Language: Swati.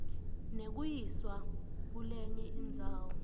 nekuyiswa kulenye indzawo